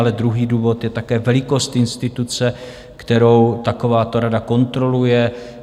Ale druhý důvod je také velikost instituce, kterou takováto rada kontroluje.